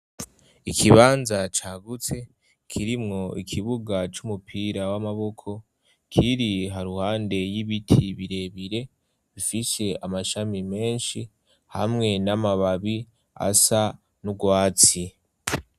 Ikibanza cagutse kirimwo ikibuga c'umupira w'amaboko kiri ha ruhande y'ibiti birebire bifise amashami menshi hamwe n'amababi asa n'ugwatsi.